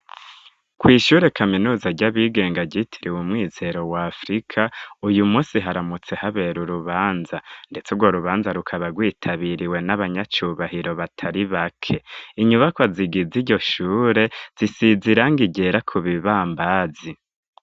Kw'ishure kaminuza ry'abigenga ryitiriwe umwizero wa afrika uyu munsi haramutse habera urubanza ndetse urwo rubanza rukaba rwitabiriwe n'abanyacubahiro batari bake Inyubakwa zigize iryo shure zisiziranga ryera ku bibambazi.